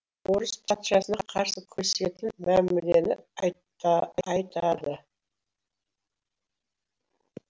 орыс патшасына қарсы күресетін мәмілені айтады